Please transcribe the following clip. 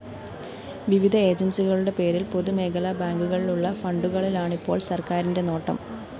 വിവിധ ഏജന്‍സികളുടെ പേരില്‍ പൊതുമേഖലാ ബാങ്കുകളിലുള്ള ഫണ്ടുകളിലാണിപ്പോള്‍ സര്‍ക്കാരിന്റെ നോട്ടം